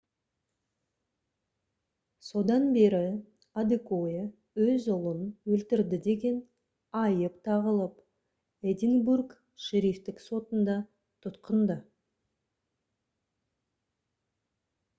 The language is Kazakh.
содан бері адекоя өз ұлын өлтірді деген айып тағылып эдинбург шерифтік сотында тұтқында